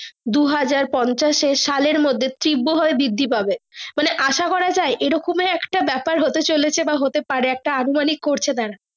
দু হাজার পঞ্চাশ সালের মর্ধে ত্রিব ভাবে বৃদ্ধি পাবে মানে আশা করা যাই এ রকমই একটা বাপের হতে চলেছে বা হতে পারে একটা অনুমানকি করছে তারা।